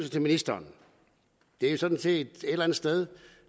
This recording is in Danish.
til ministeren det er sådan set et eller andet sted